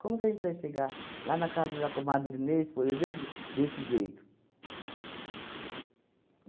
Como que a gente vai chegar lá na casa da comadre Inês, por exemplo, desse jeito?